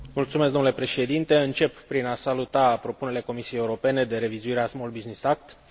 Încep prin a saluta propunerile Comisiei Europene de revizuire a Small Business Act pentru Europa.